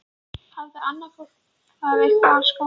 Hafði annað fólk það eitthvað skárra?